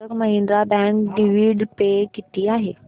Kotak Mahindra bank dividend pay किती आहे